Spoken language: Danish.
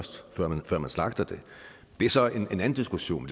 man slagter det det er så en anden diskussion